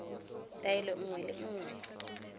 taelo nngwe le nngwe e